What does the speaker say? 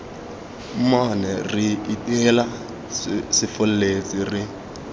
mmone re iteile sefolletse re